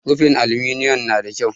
Rufin aluminiyom nada kyau.